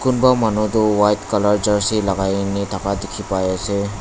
kumba manu toh white color jersey lagai na thaka dikhi pai ase.